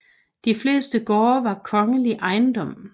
De fleste gårde var kongelig ejendom